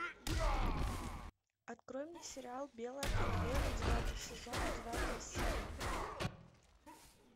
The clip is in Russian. открой мне сериал белая королева девятый сезон девятая серия